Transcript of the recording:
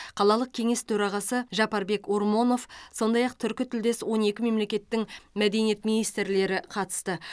қалалық кеңес төрағасы жапарбек ормонов сондай ақ түркітілдес он екі мемлекеттің мәдениет министрлері қатысты